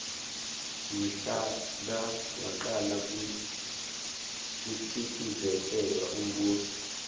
mhla ka wacala kucindzetelwa umbuso